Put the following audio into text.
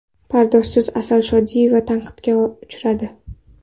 Pardozsiz Asal Shodiyeva tanqidga uchradi.